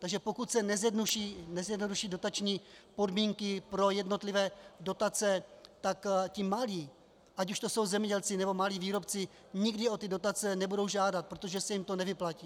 Takže pokud se nezjednoduší dotační podmínky pro jednotlivé dotace, tak ti malí, ať už to jsou zemědělci, nebo malí výrobci, nikdy o ty dotace nebudou žádat, protože se jim to nevyplatí.